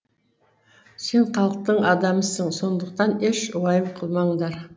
сен халықтың адамысың сондықтан еш уайым қылмаңдар